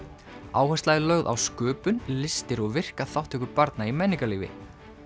áhersla er lögð á sköpun listir og virka þátttöku barna í menningarlífi